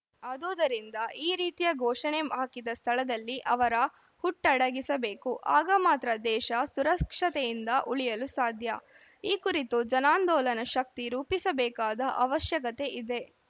ಆದೂದರಿಂದ ಈ ರೀತಿಯ ಘೋಷಣೆ ಹಾಕಿದ ಸ್ಥಳದಲ್ಲಿ ಅವರ ಹುಟ್ಟಡಗಿಸಬೇಕು ಆಗ ಮಾತ್ರ ದೇಶ ಸುರಕ್ಷತೆಯಿಂದ ಉಳಿಯಲು ಸಾಧ್ಯ ಈ ಕುರಿತು ಜನಾಂದೋಲನ ಶಕ್ತಿ ರೂಪಿಸಬೇಕಾದ ಅವಶ್ಯಕತೆ ಇದೆ